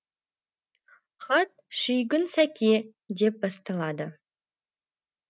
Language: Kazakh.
хат шүйгін сәке деп басталады